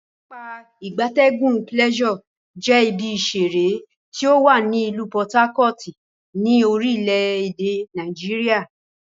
Pápá ìgbatẹ́gùn Pleasure je ibi isere ti owa ni ilu Por Harcourt, ni orile ede Nigeria.